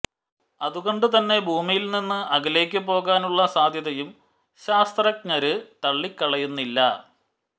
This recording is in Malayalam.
അതുകൊണ്ടുതന്നെ ഭൂമിയില് നിന്നും അകലേക്ക് പോകാനുള്ള സാധ്യതയും ശാസ്ത്രജ്ഞര് തള്ളിക്കളയുന്നില്ല